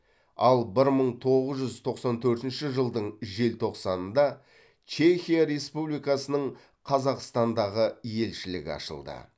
ал бір мың тоғыз жүз тоқсан төртінші жылдың желтоқсанында чехия республикасының қазақстандағы елшілігі ашылды